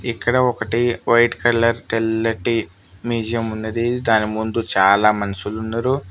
ఇక్కడ ఒకటి white colour తెల్లటి మ్యూజియం ఉన్నది దాని ముందు చాలా మనుషులు ఉండరు.